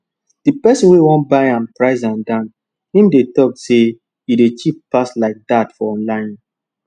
the person wey wan buy am price am down him dey talk say e dey cheap pass like that for online